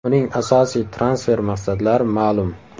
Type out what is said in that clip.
Uning asosiy transfer maqsadlari ma’lum.